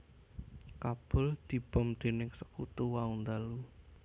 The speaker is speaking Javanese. Kabul dibom dening sekutu wau ndalu